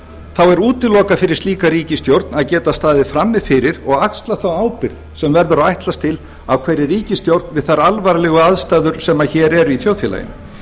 þá er útilokað fyrir slíka ríkisstjórn að geta staðið frammi fyrir og axlað þá ábyrgð sem verður að ætlast til af hverri ríkisstjórn við þær alvarlegu aðstæður sem hér eru í þjóðfélaginu